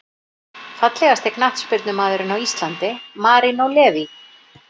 Fallegasti knattspyrnumaðurinn á Íslandi: Marinó Leví